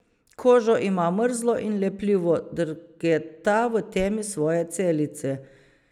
Kožo ima mrzlo in lepljivo, drgeta v temi svoje celice.